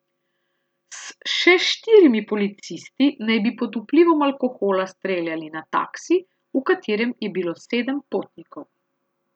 S še štirimi policisti naj bi pod vplivom alkohola streljali na taksi, v katerem je bilo sedem potnikov.